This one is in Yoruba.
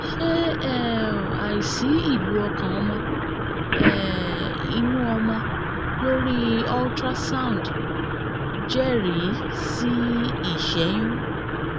ṣé um àìsí ìlù ọkàn ọmọ um inú ọmọ lórí ultrasound jẹ́rìí sí ìṣẹ́yún?